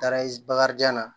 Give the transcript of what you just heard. Taara bakarijan na